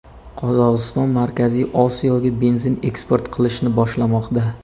Qozog‘iston Markaziy Osiyoga benzin eksport qilishni boshlamoqda.